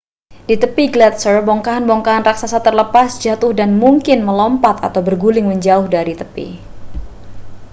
di tepi gletser bongkahan-bongkahan raksasa terlepas jatuh dan mungkin melompat atau berguling menjauh dari tepi